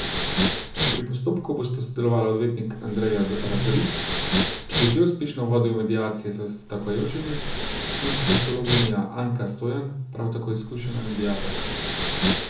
Pri postopku bosta sodelovala odvetnik Andrej Razdrih, ki je že uspešno vodil mediacije s stavkajočimi, in psihologinja Anka Stojan, prav tako izkušena mediatorka.